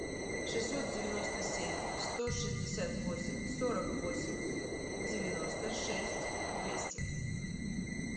шестьсот девяносто семь сто шестьдесят восемь сорок восемь девяносто шесть двести